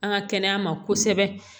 An ka kɛnɛya ma kosɛbɛ